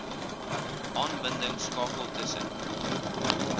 aanbidding skakels tussen